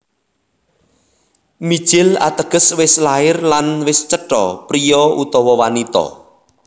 Mijil Ateges wis lair lan wis cetha priya utawa wanita